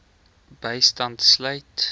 bystand sluit